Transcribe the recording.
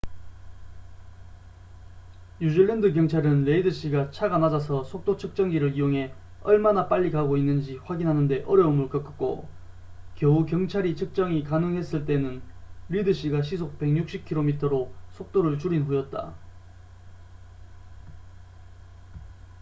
뉴질랜드 경찰은 레이드 씨가 차가 낮아서 속도 측정기를 이용해 얼마나 빨리 가고 있는지 확인하는 데 어려움을 겪었고 겨우 경찰이 측정이 가능했을 때는 리드 씨가 시속 160km로 속도를 줄인 후였다